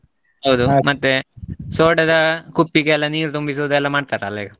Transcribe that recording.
ಹೌದು, ಮತ್ತೆ ಸೋಡದ ಕುಪ್ಪಿ ಗೆಲ್ಲಾ ನೀರ್ ತುಂಬಿಸೂದೆಲ್ಲಾ ಮಾಡತರಲ್ಲ ಈಗ.